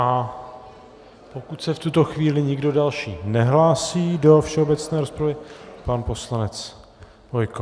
A pokud se v tuto chvíli nikdo další nehlásí do všeobecné rozpravy - pan poslanec Bojko.